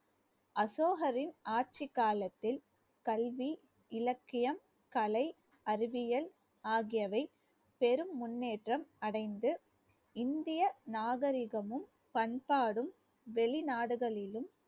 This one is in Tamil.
அசோகரின் ஆட்சிக் காலத்தில் கல்வி, இலக்கியம், கலை, அறிவியல் ஆகியவை பெரும் முன்னேற்றம் அடைந்து இந்திய நாகரிகமும் பண்பாடும் வெளிநாடுகளிலும்